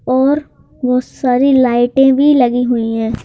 और वो सारी लाइटें भी लगी हुई हैं।